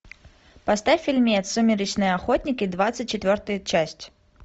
поставь фильмец сумеречные охотники двадцать четвертая часть